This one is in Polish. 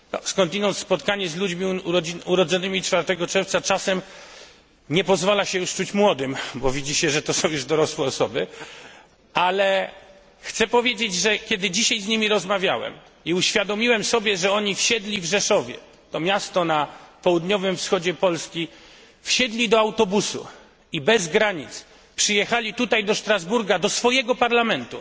Skądinąd spotkanie z ludźmi urodzonymi 4 czerwca czasem nie pozwala się już czuć młodym, bo widzi się, że to są już dorosłe osoby, ale chcę powiedzieć, że kiedy dzisiaj z nimi rozmawiałem i uświadomiłem sobie, że oni wsiedli w Rzeszowie to miasto na południowym wschodzie Polski do autobusu i bez granic przyjechali tutaj do Strasburga, do swojego Parlamentu,